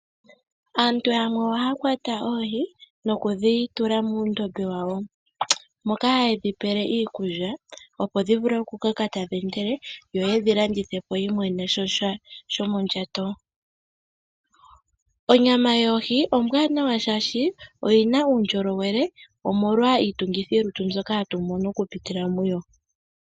Aantu yamwe oha ya kwata oohi nokudhitula muundombe wawo moka hayedhi pele iikulya opo dhivule okukoka tadhi endelele yo yedhi landithepo yi imonene sha shomondjato. Onyama yoohi ombwanawa oshoka oyina uundjolowele omolwa iitungithi lutu mbyoka hatu mono okupitila muyo